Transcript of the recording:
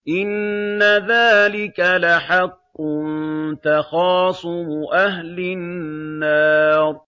إِنَّ ذَٰلِكَ لَحَقٌّ تَخَاصُمُ أَهْلِ النَّارِ